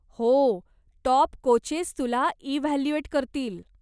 हो, top coaches तुला evaluate करतील.